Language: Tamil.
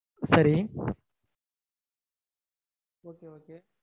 சரி okay okay